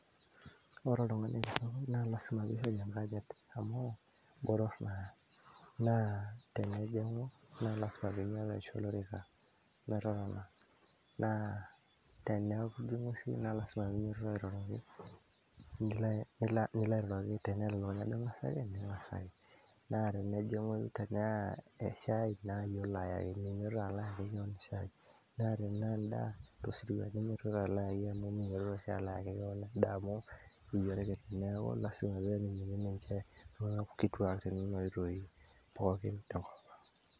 Ore oltungani kitok na lasima peishori enkanyit amu, naa tenejimgu na lasima peinyotoro aisho olorika peeton na tenejingu na lasima peinyototo airoroki, nilo airoroki tenelo ake ningasaki nilo ainyototo na tanaa shai na iyie olo ayaki na tanaa endaa tosirwa ninyototo alo ayaki endaa amu iyie orkitineaku ninche irkituat tonona oitoi .